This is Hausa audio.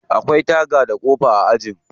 Akwai taga da kofa a aji.